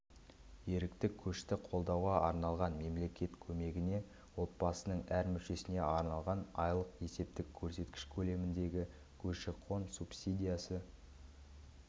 ерікті көшті қолдауға арналған мемлекет көмегіне отбасының әр мүшесіне арналған айлық есептік көрсеткіш көлеміндегі көші-қон субсидиясы